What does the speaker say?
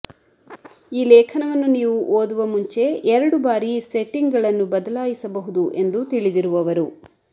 ಈ ಲೇಖನವನ್ನು ನೀವು ಓದುವ ಮುಂಚೆ ಎರಡು ಬಾರಿ ಸೆಟ್ಟಿಂಗ್ಗಳನ್ನು ಬದಲಾಯಿಸಬಹುದು ಎಂದು ತಿಳಿದಿರುವವರು